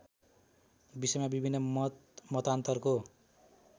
विषयमा विभिन्न मतमतान्तरको